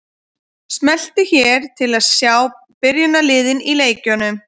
Smelltu hér til að sjá byrjunarliðin í leikjunum.